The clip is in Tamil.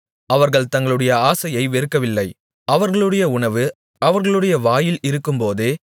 அவர்கள் தங்களுடைய ஆசையை வெறுக்கவில்லை அவர்களுடைய உணவு அவர்களுடைய வாயில் இருக்கும்போதே